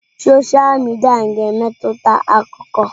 Sọsha midia ga-emetụta akụkọ.